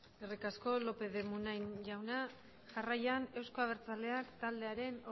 eskerrik asko lópez de munain jaunak jarraian euzko abertzaleak taldearen